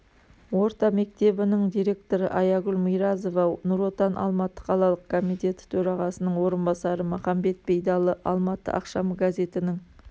орта мектебінің директоры аягүл миразова нұр отан алматы қалалық комитеті төрағасының орынбасары махамбет бейдалы алматы ақшамы газетінің